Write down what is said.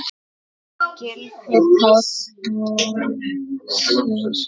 Gylfi Páll Hersir.